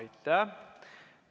Aitäh!